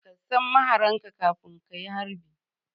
Ka san mahararka kafin ka yi harbi